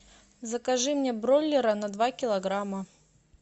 закажи мне бройлера на два килограмма